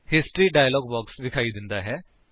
history dialog box ਵਿਖਾਈ ਦਿੰਦਾ ਹੈ